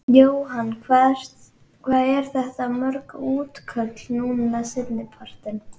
Jóhann: Hvað eru þetta mörg útköll núna seinni partinn?